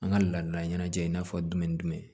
An ka ladala ɲɛnajɛ i n'a fɔ jumɛn ni jumɛn